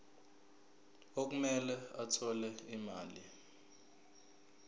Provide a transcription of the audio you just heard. okumele athole imali